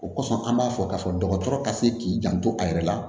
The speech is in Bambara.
O kɔsɔn an b'a fɔ k'a fɔ dɔgɔtɔrɔ ka se k'i janto a yɛrɛ la